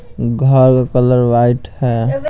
घर का colour white है।